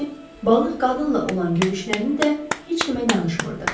balıq qadınla olan görüşlərini də heç kimə danışmırdı.